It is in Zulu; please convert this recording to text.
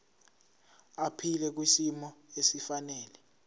aphile kwisimo esifanele